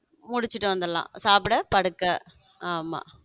முடிச்சுட்டு வந்துடலாம் சாப்பிட படுக்க ஆமா.